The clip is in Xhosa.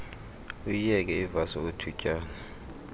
uyiyeke ivasi okwethutyana